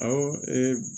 Awɔ